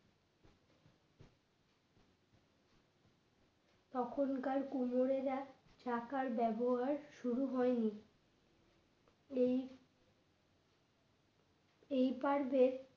তখনকার কোমরেরা চাকার ব্যবহার শুরু হয়নি এই এই পারবে